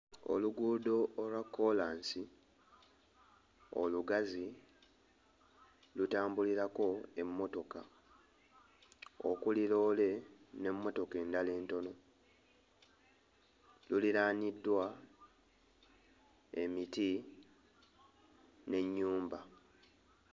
Oluguudo olwa kkoolansi olugazi lutambulirako emmotoka okuli loole n'emmotoka endala entono. Luliraaniddwa emiti n'ennyumba.